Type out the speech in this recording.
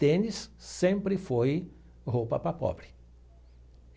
Tênis sempre foi roupa para pobre.